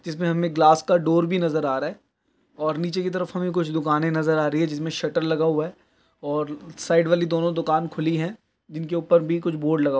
जिसमें हमने ग्लास का डोर भी नजर आ रहा है और नीचे की तरफ हमें कुछ दुकानें नजर आ रही हैं जिसमें शटर लगा हुआ है और साइड वाली दोनों दुकान खुली हैं जिनके ऊपर भी कुछ बोर्ड लगा हुआ --